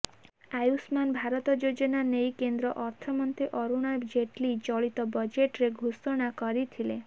ଆୟୁଷ୍ମାନ ଭାରତ ଯୋଜନା ନେଇ କେନ୍ଦ୍ର ଅର୍ଥମନ୍ତ୍ରୀ ଅରୁଣ ଜେଟଲୀ ଚଳିତ ବଜେଟରେ ଘୋଷଣା କରିଥିଲେ